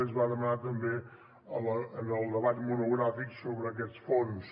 es va demanar també en el debat monogràfic sobre aquests fons